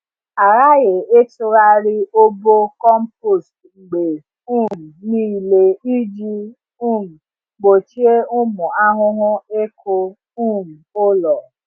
A ghaghị ịtụgharị obo compost mgbe um niile iji um gbochie ụmụ ahụhụ ịkụ um ụlọ.